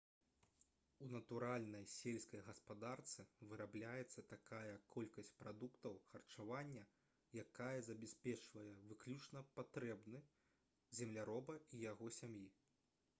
у натуральнай сельскай гаспадарцы вырабляецца такая колькасць прадуктаў харчавання якая забяспечвае выключна патрэбы земляроба і яго сям'і